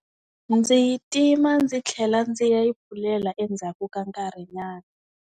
Ndzi yi tima ndzi tlhela ndzi ya yi pfulela endzhaku ka nkarhi nyana.